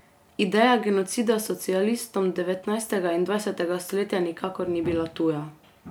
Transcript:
Ideja genocida socialistom devetnajstega in dvajsetega stoletja nikakor ni bila tuja.